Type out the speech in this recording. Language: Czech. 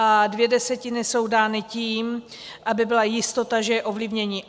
A dvě desetiny jsou dány tím, aby byla jistota, že je ovlivnění.